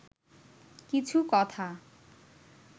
কিছু কথা